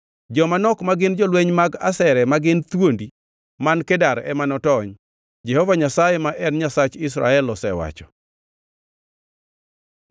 Joma nok ma gin jolweny mag asere ma gin thuondi man Kedar ema notony. Jehova Nyasaye ma en Nyasach Israel osewacho.”